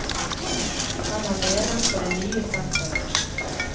Han er leder for det nye senteret.